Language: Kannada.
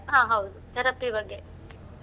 ಹಾ ಹೌದು, therapy ಬಗ್ಗೆ .